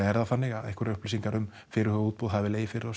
er það þannig að einhverjar upplýsingar um fyrirhuguð útboð hafi legið fyrir á